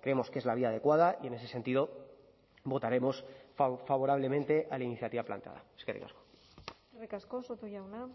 creemos que es la vía adecuada y en ese sentido votaremos favorablemente a la iniciativa planteada eskerrik asko eskerrik asko soto jauna